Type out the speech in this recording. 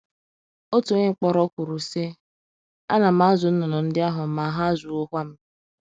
Otu onye mkpọrọ kwuru, sị: “ Ana m azụ nnụnụ ndị ahụ, ma ha azụwokwa m. ”